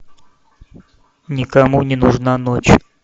никому не нужна ночь